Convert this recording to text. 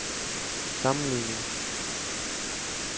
sammenligning